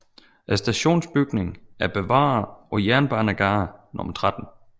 Stationsbygningen er bevaret på Jernbanegade 13